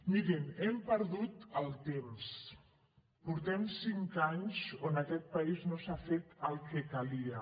mirin hem perdut el temps portem cinc anys on en aquest país no s’ha fet el que calia